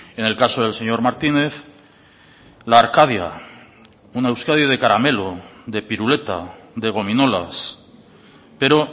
en el caso del señor martínez la arcadia una euskadi de caramelo de piruleta de gominolas pero